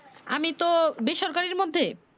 আমি তো বেসরকারি এর মধ্যে